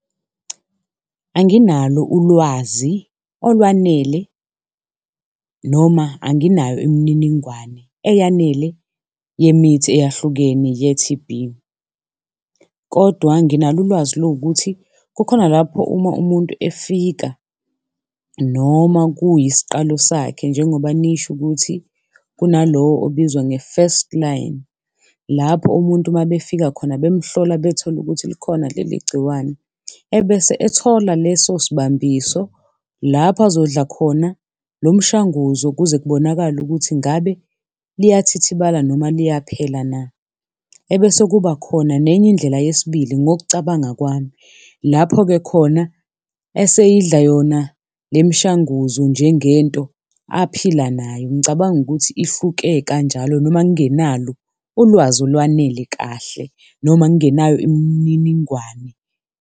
Anginalo ulwazi olwanele noma anginayo imininingwane eyanele yemithi eyahlukene ye-T_B kodwa nginalo ulwazi lowukuthi kukhona lapho uma umuntu efika noma kuyisiqalo sakhe njengoba nisho ukuthi kunalowo obizwa nge-first-line, lapho umuntu mabefika khona bemhlola bethole ukuthi likhona leli gciwane ebese ethola leso sibambiso lapho azodla khona lo mshanguzo kuze kubonakale ukuthi ngabe liyathithibala noma liyaphela na. Ebese kuba khona nenye indlela yesibili ngokucabanga kwami, lapho-ke khona esiyidla yona le mishanguzo njengento aphile nayo. Ngicabanga ukuthi ihluke kanjalo, noma ngingenalo ulwazi olwanele kahle noma ngingenayo imininingwane.